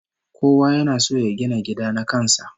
Kowa yana son ya gina gida na kan sa